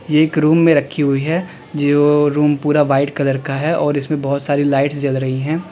ये एक रूम में रखी हुई है जो रूम पूरा व्हाइट कलर का है और इसमें बहोत सारी लाइट्स जल रही है।